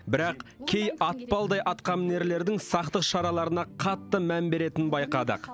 бірақ кей атпалдай атқамінерлердің сақтық шараларына қатты мән беретінін байқадық